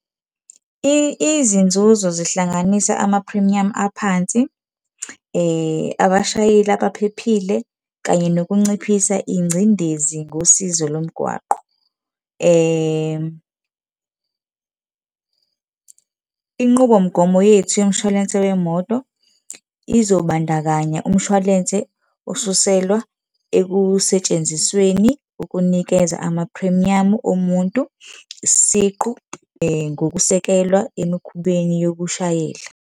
Izinzuzo zihlanganisa amaphrimiyamu aphansi, abashayeli abaphile, kanye nokunciphisa ingcindezi ngosizo lomgwaqo. Inqubomgomo yethu yomshwalense wemoto izobandakanya umshwalense osuselwa ekusentshenzisweni ukunikeza amaphrimiyamu omuntu isiqu, ngokusekelwa emikhubeni yokushayela.